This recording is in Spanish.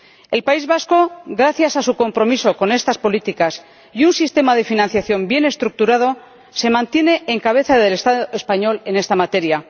El País Vasco, gracias a su compromiso con estas políticas y a un sistema de financiación bien estructurado, se mantiene en cabeza del Estado español en esta materia.